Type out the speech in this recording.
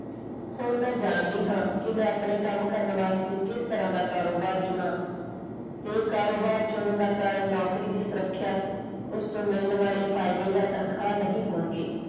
ਹੁਣ ਮੈਂ ਜਾਣਦੀ ਹਨ ਕਿ ਮੈਂ ਆਪਣੇ ਕੰਮ ਕਰਨ ਵਾਸਤੇ ਕਿਸ ਤਰਾਂ ਦਾ ਕਾਰੋਬਾਰ ਚੁਣਾ ਤੇ ਕਾਰੋਬਾਰ ਚੁਣਨ ਦਾ ਕਾਰਨ ਨੌਕਰੀ ਦੀ ਸੁਰੱਖਿਆ ਉਸਦੇ ਮਿਲਣ ਵਾਲੇ ਫਾਇਦੇ ਜਾਂ ਤਨਖਾਹ ਨਹੀਂ ਹੋਣਗੇ।